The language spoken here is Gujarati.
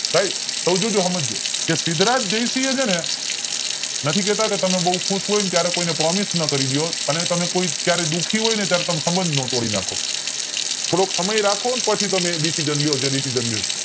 સાઇબ ક્વ છું ને એ સમજજો કે સિદ્ધરાજ જયસિંહ છેને નથી કેતા કે તમે બોવ ખુશ હોય ત્યારે તમે કોઈને promise નો કરી દયો અને ક્યારે કોઈ દુઃખી હોય ત્યારે તમે સબંધ નો તોડી નાખો